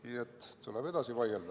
Nii et tuleb edasi vaielda.